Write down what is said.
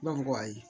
Ne b'a fɔ ko ayi